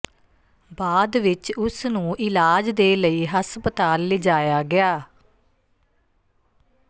ਬਾਅਦ ਵਿੱਚ ਉਸ ਨੂੰ ਇਲਾਜ ਦੇ ਲਈ ਹਸਪਤਾਲ ਲਿਜਾਇਆ ਗਿਆ